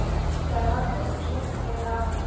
Þegar hárkollan og skeggið fauk af honum!